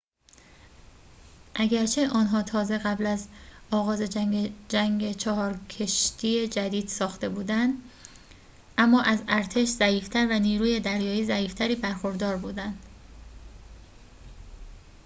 اگرچه آنها تازه قبل از آغاز جنگ چهار کشتی جدید ساخته بودند اما از ارتش ضعیف تر و نیروی دریایی ضعیف تری برخوردار بودند